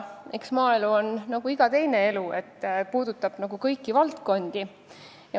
Eks maaelu on nagu iga teine elu, st puudutab kõiki valdkondi.